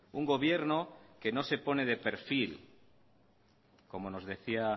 un gobierno que no se pone de perfil como nos decía